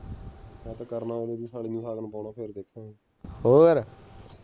ਹੋਰ